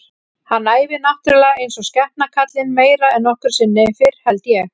Hann æfir náttúrulega eins og skepna kallinn, meira en nokkru sinni fyrr held ég.